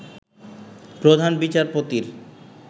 প্রধান বিচারপতির